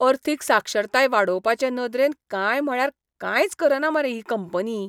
अर्थीक साक्षरताय वाडोवपाचे नदरेन कांय म्हळ्यार कांयच करना मरे ही कंपनी!